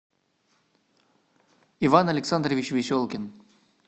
иван александрович веселкин